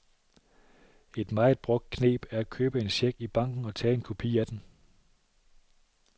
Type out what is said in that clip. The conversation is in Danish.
Et meget brugt kneb er at købe en check i banken og tage en kopi af den.